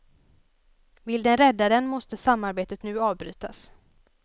Vill den rädda den måste samarbetet nu avbrytas.